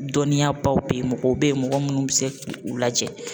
Dɔnniyabaw bɛ yen mɔgɔ bɛ yen mɔgɔ minnu bɛ se k'u lajɛ